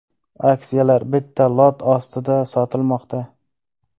Aksiyalar bitta lot ostida sotilmoqda.